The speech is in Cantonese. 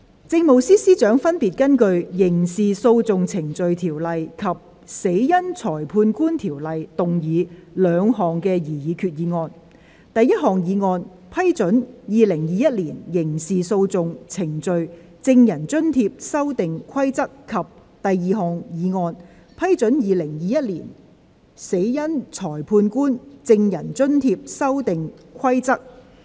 政務司司長分別根據《刑事訴訟程序條例》及《死因裁判官條例》，動議兩項擬議決議案：第一項議案：批准《2021年刑事訴訟程序規則》；及第二項議案：批准《2021年死因裁判官規則》。